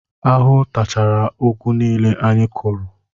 Ahụhụ tachara ugwu niile anyị kụrụ